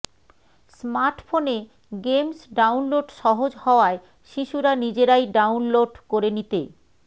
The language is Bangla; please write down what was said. স্মার্টফোনে গেমস ডাউনলোড সহজ হওয়ায় শিশুরা নিজেরাই ডাউনলোড করে নিতে